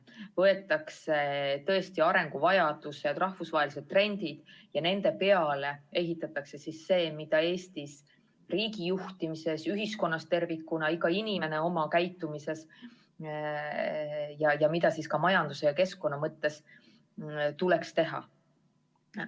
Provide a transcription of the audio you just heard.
Võetakse arenguvajadused ja rahvusvahelised trendid ning nende peale ehitatakse see, mida Eesti riigijuhtimises, ühiskonnas tervikuna, igal inimesel oma käitumises, ka majanduse ja keskkonna mõttes tuleks teha.